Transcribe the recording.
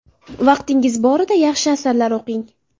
Vaqtingiz borida yaxshi asarlar o‘qing.